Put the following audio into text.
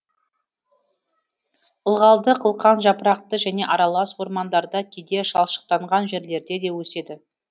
ылғалды қылқан жапырақты және аралас ормандарда кейде шалшықтанған жерлерде де өседі